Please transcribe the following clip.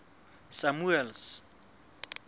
samuel's